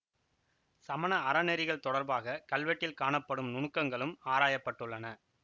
சமண அறநெறிகள் தொடர்பாக கல்வெட்டில் காணப்படும் நுணுக்கங்களும் ஆராயப்பட்டுள்ளன